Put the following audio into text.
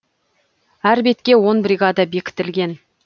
әр бетке он бригада бекітілген